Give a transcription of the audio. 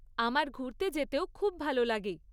আমার ঘুরতে যেতেও খুব ভাল লাগে।